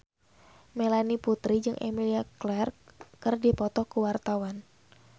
Melanie Putri jeung Emilia Clarke keur dipoto ku wartawan